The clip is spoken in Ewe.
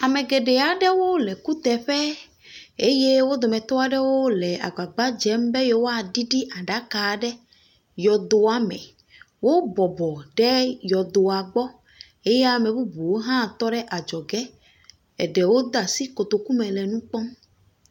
Ame geɖe aɖewo le kuteƒe. Eye wo dometɔ aɖewo le agbagba dzem be yewoa ɖiɖi aɖaka ɖe yɔdoa me. Wo bɔbɔ ɖe yɔdoa gbɔ. Eye ame bubuwo hã tɔ ɖe adzɔge. Eɖewo de asi kotoku me le nu kpɔm.